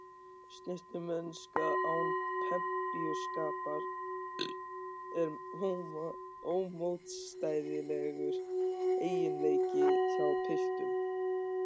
Snyrtimennska án pempíuskapar er ómótstæðilegur eiginleiki hjá piltum.